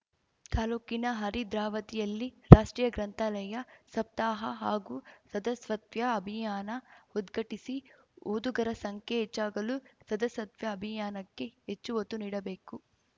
ತಾಲೂಕಿನ ಹರಿದ್ರಾವತಿಯಲ್ಲಿ ರಾಷ್ಟ್ರೀಯ ಗ್ರಂಥಾಲಯ ಸಪ್ತಾಹ ಹಾಗೂ ಸದಸ್ವತ್ಯಾ ಅಭಿಯಾನ ಉದ್ಘಟಿಸಿ ಓದುಗರ ಸಂಖ್ಯೆ ಹೆಚ್ಚಾಗಲು ಸದಸ್ಯತ್ವ ಅಭಿಯಾನಕ್ಕೆ ಹೆಚ್ಚು ಒತ್ತು ನೀಡಬೇಕು